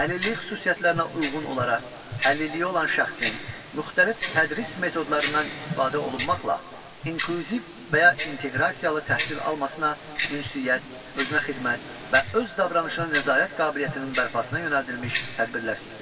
Əlillik xüsusiyyətlərinə uyğun olaraq əlilliyi olan şəxsin müxtəlif tədris metodlarından istifadə olunmaqla inklüziv və ya inteqrasiyalı təhsil almasına, ünsiyyət, özünəxidmət və öz davranışına nəzarət qabiliyyətinin bərpasına yönəldilmiş tədbirlər sistemi.